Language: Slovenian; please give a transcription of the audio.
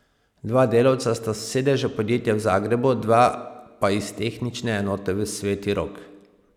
Dva delavca sta s sedeža podjetja v Zagrebu, dva pa iz tehnične enote Sveti Rok.